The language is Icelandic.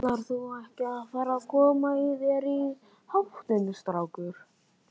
Ætlarðu ekki að fara að koma þér í háttinn, strákur?